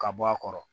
Ka bɔ a kɔrɔ